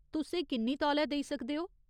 तुस एह् किन्नी तौले देई सकदे ओ ?